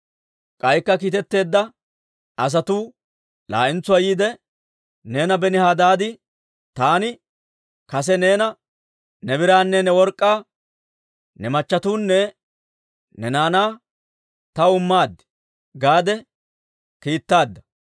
K'aykka kiitetteedda asatuu laa'entsuwaa yiide, «Neena Benihadaadi, ‹Taani kase neena, «Ne biraanne ne work'k'aa, ne machchatuwanne ne naanaa taw imma» gaade kiittaaddi.